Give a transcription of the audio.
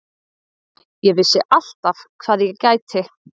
Ég vissi alltaf hvað ég gæti.